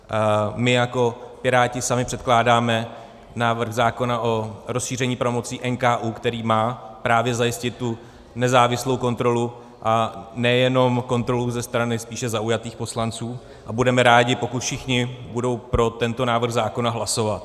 My jako Piráti sami předkládáme návrh zákona o rozšíření pravomocí NKÚ, který má právě zajistit tu nezávislou kontrolu, a nejenom kontrolu ze strany spíše zaujatých poslanců, a budeme rádi, pokud všichni budou pro tento návrh zákona hlasovat.